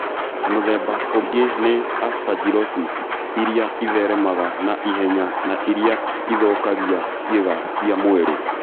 Mũthemba ũngĩ nĩ aspergillosis ĩrĩa ĩtheremaga na ihenya na ĩrĩa ithũkagia ciĩga cia mwĩrĩ.